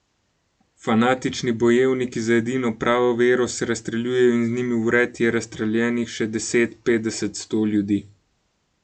Fanatični bojevniki za edino pravo vero se razstreljujejo in z njimi vred je razstreljenih še deset, petdeset, sto ljudi.